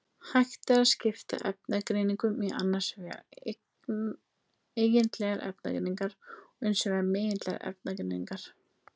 Hægt er að skipta efnagreiningum í annars vegar eigindlegar efnagreiningar og hins vegar megindlegar efnagreiningar.